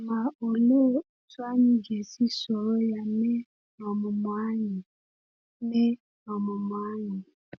Ma òlee otú anyị ga-esi soro ya mee n’ọmụmụ anyị? mee n’ọmụmụ anyị?